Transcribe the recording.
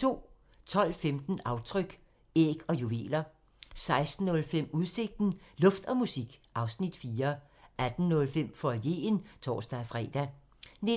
12:15: Aftryk – Æg og juveler 16:05: Udsigten – Luft og musik (Afs. 4) 18:05: Foyeren (tor-fre) 19:20: